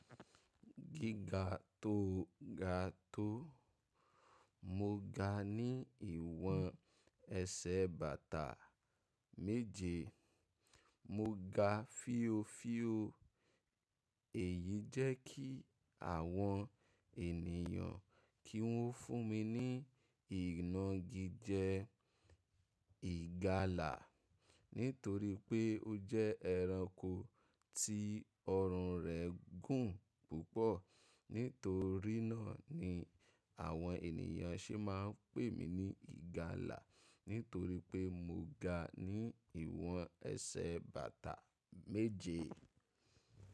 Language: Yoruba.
Gíga tó ga tó, mo ga ní ìwọ̀n ẹsẹ̀ bàtà méje. Mo ga fío fío, èyí jẹ́ kí àwọn ènìyàn kí wọ́n fún mi ní inágíjẹ́ ìgalà nítorí pé ó jẹ́ ẹranko tí ọrùn rẹ̀ gùn púpọ̀. Nítorí náà ni àwọn ènìyàn se máa ń pè mí ní ìgalà nítorí pé mo ga ní ìwọ̀n ẹsẹ̀ bàtà méje.